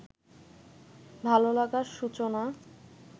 ভালোলাগার সূচনা